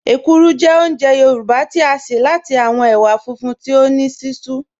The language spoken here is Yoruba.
Èkúrú jẹ́ ọ̀únjẹ̀ Yorùbá tí a ṣẹ̀ láti awọn èwà fúnfún tí o ní sísún